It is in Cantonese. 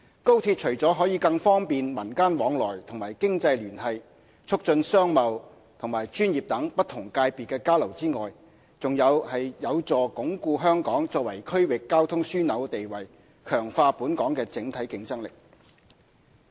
高鐵除了可更方便民間來往和經濟聯繫、促進商貿和專業等不同界別的交流外，還有助鞏固香港作為區域交通樞紐的地位，強化本港的整體競爭力。